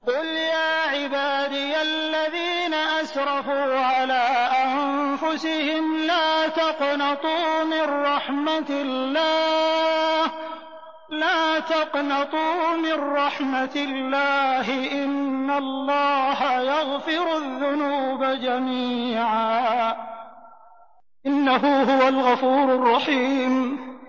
۞ قُلْ يَا عِبَادِيَ الَّذِينَ أَسْرَفُوا عَلَىٰ أَنفُسِهِمْ لَا تَقْنَطُوا مِن رَّحْمَةِ اللَّهِ ۚ إِنَّ اللَّهَ يَغْفِرُ الذُّنُوبَ جَمِيعًا ۚ إِنَّهُ هُوَ الْغَفُورُ الرَّحِيمُ